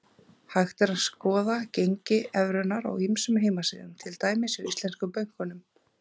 Hægt er að skoða gengi evrunnar á ýmsum heimasíðum, til dæmis hjá íslensku bönkunum.